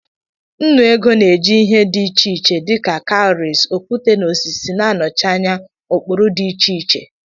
Nnu ego na-eji ihe dị iche iche dị ka kawuries, okwute na osisi na-anọchi anya ụkpụrụ dị iche iche.